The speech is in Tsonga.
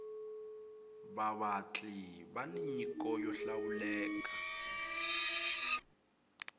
vavatli vani nyiko yo hlawuleka